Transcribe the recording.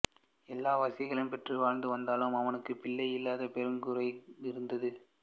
எல்லா வசதிகளும் பெற்று வாழ்ந்து வந்தாலும் அவனுக்குப் பிள்ளையில்லாதது பெருங்குறையாக இருந்தது